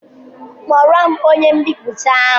Kpọọro m onye mbipụta ahụ!